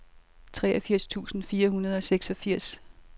treogfirs tusind fire hundrede og seksogfirs